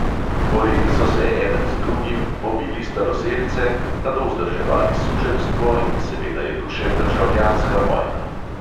Borili so se eden z drugim, pobili staroselce, nato vzdrževali suženjstvo in seveda je tu še državljanska vojna.